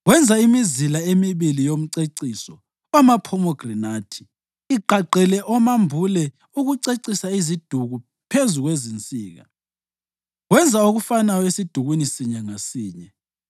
Wenza imizila emibili yomceciso wamaphomegranathi, igqagqele amambule ukucecisa iziduku phezu kwezinsika. Wenza okufanayo esidukwini sinye ngasinye.